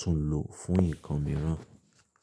túnlo fún ǹkan mìíràn.